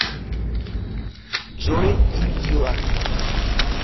джой индила